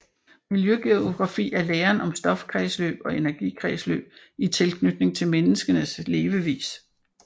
Miljøgeografi er læren om stofkredsløb og energikredsløb i tilknytning til menneskenes levevis